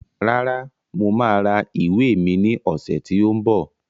Rárá, mo máa ra ìwé mi ní ọ̀sẹ̀ tí ó ń bọ̀